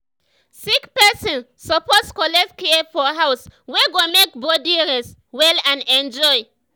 sick person suppose collect care for house wey go make body rest well and enjoy.